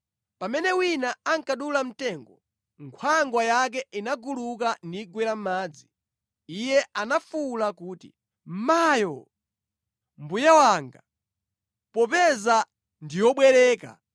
Pamene wina ankadula mtengo, nkhwangwa yake inaguluka nigwera mʼmadzi. Iye anafuwula kuti, “Mayo! Mbuye wanga! Popeza ndi yobwereka!”